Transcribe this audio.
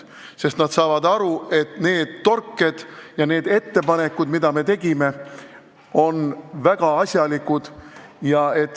Nad saavad aru, et need torked ja need ettepanekud, mis me tegime, on väga asjalikud.